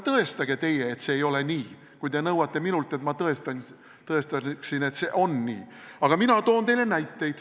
Tõestage teie, et see ei ole nii, kui te nõuate minult, et ma tõestaksin, et see on nii!